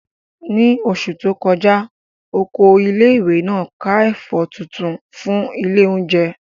Ní oṣù tó kọjá, Oko ilé ìwé náà ká ẹ̀fọ́ tuntun fún ilé oúnjẹ